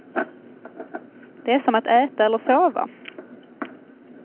Det är som att äta eller sova.